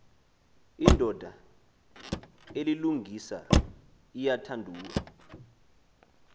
indoda elilungisa iyathandua